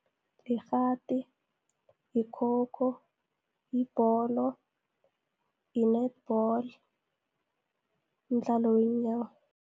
Yikghati, yikhokho yibholo, yi-netball, mdlalo weenyawo.